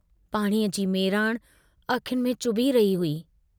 पाणीअ जी मेराण अखियुनि में चुभी रही हुई।